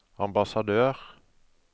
ambassadør